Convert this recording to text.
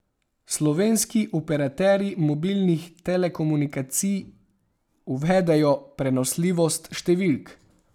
Slovenski operaterji mobilnih telekomunikacij uvedejo prenosljivost številk.